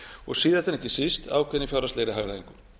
og síðast en ekki síst ákveðinni fjárhagslegri hagræðingu